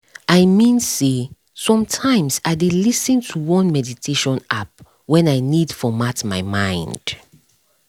i mean say sometimes i dey lis ten to one meditation app when i need format my mind